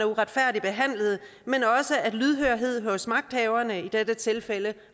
uretfærdigt behandlet men at lydhørhed hos magthaverne i dette tilfælde